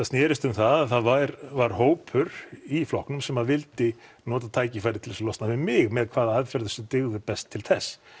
snerist um það að það var hópur í flokknum sem vildi nota tækifærið til þess að losna við mig með hvaða aðferðum sem dygðu best til þess